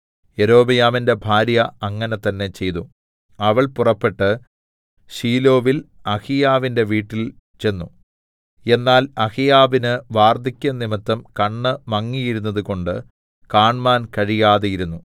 യൊരോബെയാമിന്റെ ഭാര്യ അങ്ങനെ തന്നേ ചെയ്തു അവൾ പുറപ്പെട്ട് ശീലോവിൽ അഹീയാവിന്റെ വീട്ടിൽ ചെന്നു എന്നാൽ അഹീയാവിന് വാർദ്ധക്യം നിമിത്തം കണ്ണ് മങ്ങിയിരിരുന്നതുകൊണ്ട് കാണ്മാൻ കഴിയാതെയിരുന്നു